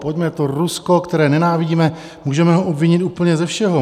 Pojďme to Rusko, které nenávidíme, můžeme ho obvinit úplně ze všeho.